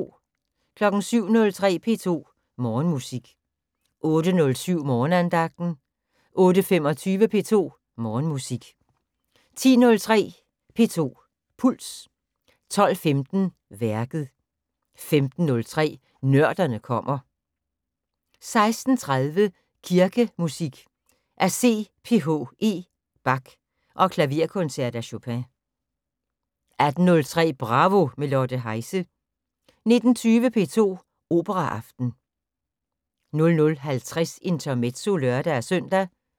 07:03: P2 Morgenmusik 08:07: Morgenandagten 08:25: P2 Morgenmusik 10:03: P2 Puls 12:15: Værket 15:03: Nørderne kommer 16:30: Kirkemusik af C. Ph. E. Bach og Klaverkoncert af Chopin 18:03: Bravo – med Lotte Heise 19:20: P2 Operaaften 00:50: Intermezzo (lør-søn)